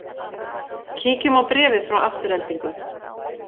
Kíkjum á bréfið frá Aftureldingu